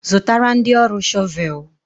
Zụtara ndị ọrụ shọvel.